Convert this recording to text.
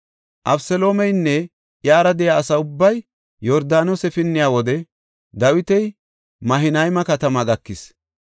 Abeseloomeynne iyara de7iya asa ubbay Yordaanose pinniya wode Dawiti Mahanayma katamaa gakis.